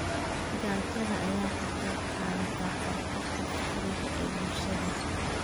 Gaajada ayaa ka qayb qaadata kororka faqriga ee bulshada.